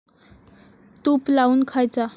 तूप लावून खायचा.